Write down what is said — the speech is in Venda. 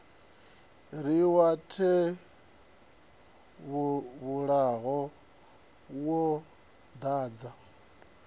ri wa tevhula wo dadza